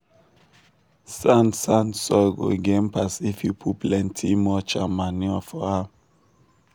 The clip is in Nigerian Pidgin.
sand sand soil go gain pass if you put plenty mulch and manure for am.